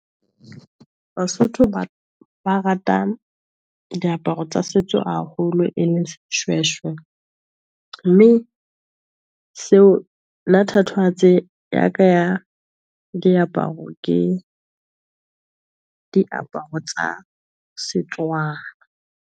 Basotho ba rata diaparo tsa setso haholo e leng sehweshwe, mme nna thatohatsi ya ka ya diaparo ke diaparo tsa Setswana.